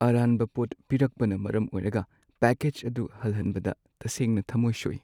ꯑꯔꯥꯟꯕ ꯄꯣꯠ ꯄꯤꯔꯛꯄꯅ ꯃꯔꯝ ꯑꯣꯏꯔꯒ ꯄꯦꯛꯀꯦꯖ ꯑꯗꯨ ꯍꯜꯍꯟꯕꯗ ꯇꯁꯦꯡꯅ ꯊꯃꯣꯢ ꯁꯣꯛꯢ꯫